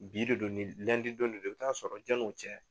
Bi de do don de do i bɛ taa sɔrɔ janni o cɛ